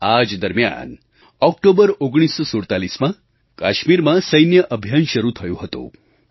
આ જ દરમિયાન ઓક્ટોબર 1947માં કાશ્મીરમાં સૈન્ય અભિયાન શરૂ થયું હતું